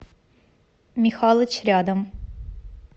михалыч рядом